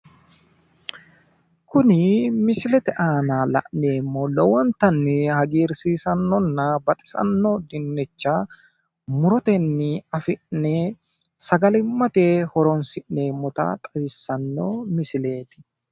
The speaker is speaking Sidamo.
Kuni misilete aanna la'nneemohu lowonitanni hagiirissisannona baxisano dinncha muroteni afinne sagalimate horonsineemota xawisano misileti